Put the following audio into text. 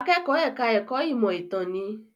Akẹ́kọ̀ọ́ ẹ̀ka ẹ̀kó ìmọ̀ ìtàn ni.